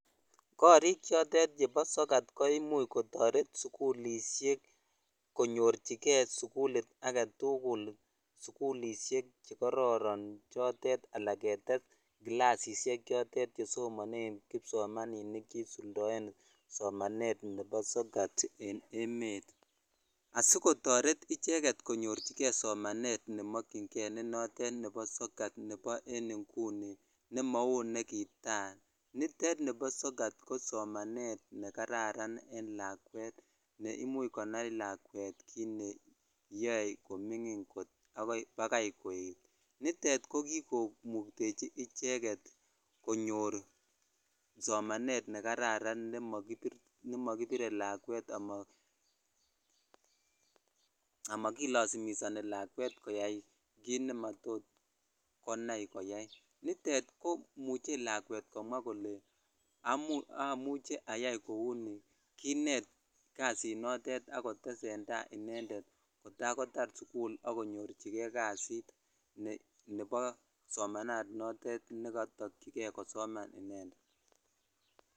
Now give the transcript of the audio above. Korik chotet chebo sokat koimuch kotoret sukulishek konyorchike sukulit aketukul sukulishek chekororon chotet alaa ketes kilasishek chotet chesomonen kipsomaninik che isuldoen somanet nebo sokat en emet asikotoret icheket konyorchike somanet nemokying'e ne notet nebo sokat nebo en ing'uni nemau nekitaa, nitet nibo sokat ko somanet nekararan en lakwet ne imuch koyai lakwet kiit neyoe koming'in bakai koet, nitet ko kikomuktechi icheket konyor somanet nekararan nemokibire lakwet ama kilosumisoni lakwet koyai kiit nematot konai koyai, nitet komuche lakwet komwaa kolee amuche ayai kouni, kinet kasinotet ak kotesenta inendet kotakotar sukul ak konyorchike kasit nebo somananotet nekotokyike kosoman inendet.